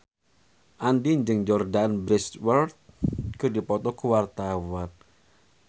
Andien jeung Jordana Brewster keur dipoto ku wartawan